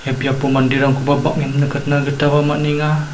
biapo manderangkoba bang·en nikatna gitaba man·enga.